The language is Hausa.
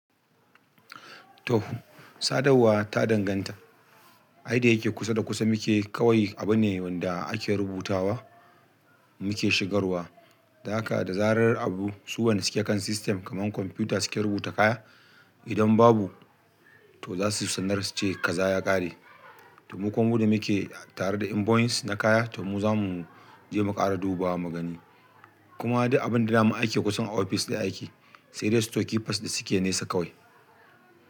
To, sadawwa ta danganta. Ai dayake kusa da kusa muke kawai abune wanda ake rubutawa muke shigarwa. Dan haka da zarar abu su wanda suke kan system kamar kwamfuta suke rubuta kaya. Idan babu to za su sanar su ce kaza ya ƙare. To mu kuma mu da muke tare da invoice na kaya to mu zamu je mu ƙara dubawa mugani. Kuma duk abin da zamu aike kusan a ofis ɗin aiki sai dai store keepers da suke nesa kawai.